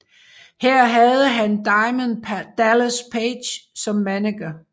Her havde han Diamond Dallas Page som manager